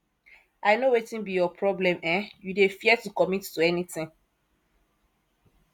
i no wetin be your problem um you dey fear to commit to anything